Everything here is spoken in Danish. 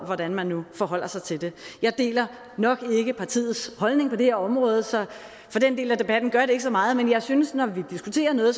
hvordan man nu forholder sig til det jeg deler nok ikke partiets holdning på det her område så for den del af debatten gør det ikke så meget men jeg synes at det når vi diskuterer noget